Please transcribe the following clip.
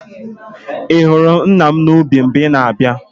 Ị hụrụ nna m n'ubi mgbe ị na-abịa?